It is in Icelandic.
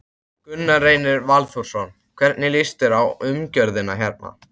Gunnar Reynir Valþórsson: Hvernig líst þér á umgjörðina hérna?